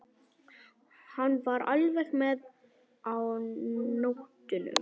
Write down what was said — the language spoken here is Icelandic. Hann var alveg með á nótunum.